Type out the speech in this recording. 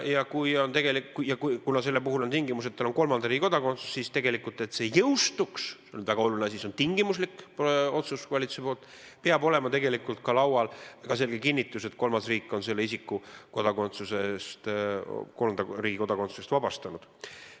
Ja kuna selle puhul on tingimus, et isikul on kolmanda riigi kodakondsus, siis selleks, et see jõustuks – see on väga oluline asi, see on valitsusepoolne tingimuslik otsus –, peab tegelikult olema laual ka selge kinnitus, et kolmas riik on selle isiku kolmanda riigi kodakondsusest vabastanud.